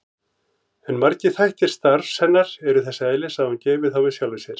En margir þættir starfs hennar eru þess eðlis að hún geymir þá með sjálfri sér.